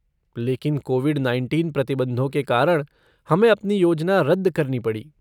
लेकिन covid nineteen प्रतिबंधों के कारण हमें अपनी योजना रद्द करनी पड़ी।